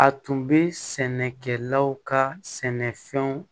A tun bɛ sɛnɛkɛlaw ka sɛnɛfɛnw